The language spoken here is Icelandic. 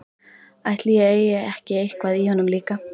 Ætli ég eigi ekki eitthvað í honum líka.